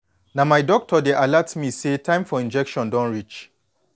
na my doctor dey alert me say time for injection don reach